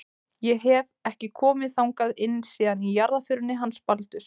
Ég hef. ekki komið þangað inn síðan í jarðarförinni hans Baldurs.